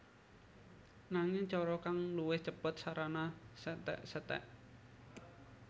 Nanging cara kang luwih cêpêt sarana setékseték